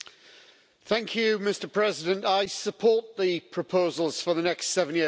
Mr President, I support the proposals for the next seven-year budget framework.